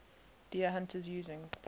deer hunters using